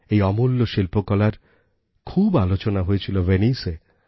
এই অমূল্য শিল্পকলার খুব আলোচনা হয়েছিল ভেনিসে